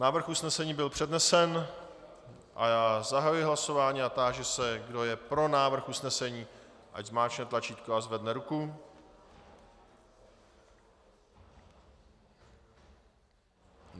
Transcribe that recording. Návrh usnesení byl přednesen a já zahajuji hlasování a táži se, kdo je pro návrh usnesení, ať zmáčkne tlačítko a zvedne ruku.